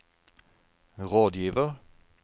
rådgiver